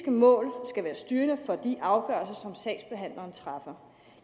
mål skal være styrende for de afgørelser som sagsbehandleren træffer